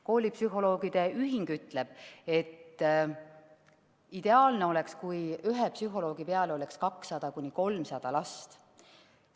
Koolipsühholoogide ühing ütleb, et ideaalne oleks, kui ühe psühholoogi peale oleks 200–300 last.